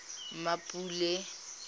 mmapule